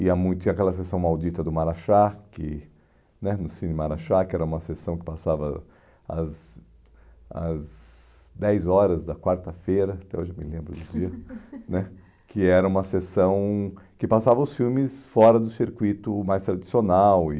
ia muito, tinha aquela sessão maldita do Marachá, que né, no Cine Marachá, que era uma sessão que passava às às dez horas da quarta-feira, até hoje eu me lembro do dia né, que era uma sessão que passava os filmes fora do circuito mais tradicional e